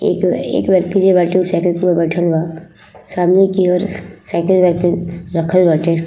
एक एक व्यक्ति जे बाटे उ साइकिल पर बइठल बा। सामने की और साइकिल वाइकिल रखल बाटे।